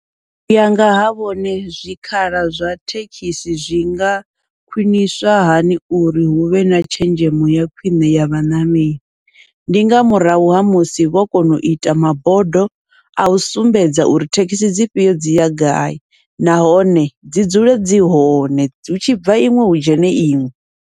Uya ngaha vhone zwikhala zwa thekhisi zwi nga khwiṋiswa hani uri huvhe na tshenzhemo ya khwiṋe ya vhaṋameli, ndi nga murahu ha musi vho kona uita mabodo, au sumbedza uri thekhisi dzifhio dzi ya gai nahone dzi dzule dzi hone hu tshi bva iṅwe hu dzhene iṅwe.